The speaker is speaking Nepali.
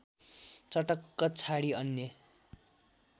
चटक्क छाडी अन्य